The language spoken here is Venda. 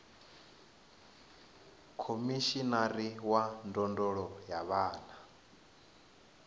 khomishinari wa ndondolo ya vhana